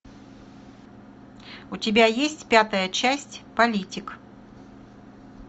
у тебя есть пятая часть политик